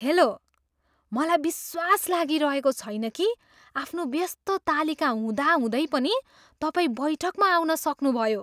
Hello! मलाई विश्वास लागिरहेको छैन कि आफ्नो व्यस्त तालिका हुँदाहुँदै पनि तपाईँ बैठकमा आउन सक्नुभयो!